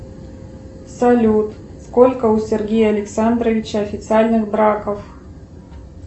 салют сколько у сергея александровича официальных браков